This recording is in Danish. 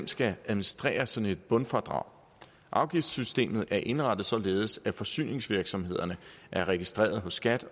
skal administrere sådan et bundfradrag afgiftssystemet er indrettet således at forsyningsvirksomhederne er registrerede hos skat